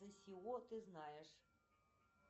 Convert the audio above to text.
ты знаешь